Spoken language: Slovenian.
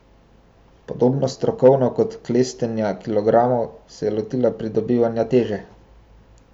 Podobno strokovno kot klestenja kilogramov se je lotila pridobivanja teže.